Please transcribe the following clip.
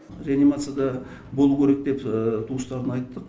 реанимацияда болу керек деп туыстарына айттық